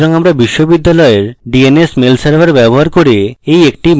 সুতরাং আমার বিশ্ববিদ্যালয়ের dns mail server ব্যবহার করে এই একটি mail ফাংশন